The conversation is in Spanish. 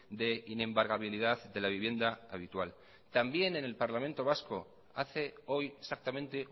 de inembargabilidad de la vivienda habitual también en el parlamento vasco hace hoy exactamente